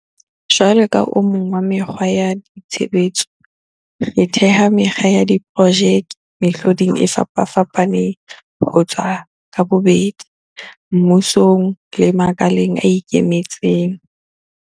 Jwalo ka o mong wa mekgwa ya tshebetso, re theha mekga ya diprojeke mehloding e fapafapaneng ho tswa ka bobedi, mmusong le makaleng a ikemetseng.